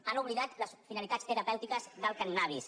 han oblidat les finalitats terapèutiques del cànnabis